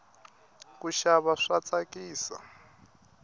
kuxava swa tsakisa